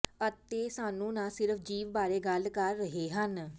ਅਤੇ ਸਾਨੂੰ ਨਾ ਸਿਰਫ਼ ਜੀਵ ਬਾਰੇ ਗੱਲ ਕਰ ਰਹੇ ਹਨ